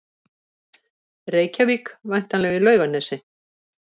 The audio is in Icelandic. Reykjavík, væntanlega í Laugarnesi.